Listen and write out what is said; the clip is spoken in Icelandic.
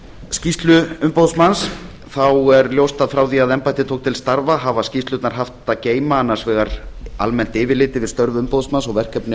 skýrslu umboðsmanns þá er ljóst að frá því að embættið tók til starfa hafa skýrslurnar haft að geyma annars vegar almennt yfirlit yfir störf umboðsmanns og verkefni